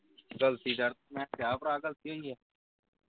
ਗਲਤੀ ਯਾਰ ਮੈਂ ਕਿਹਾ ਭਰਾ ਗਲਤੀ ਹੋਈ ਆ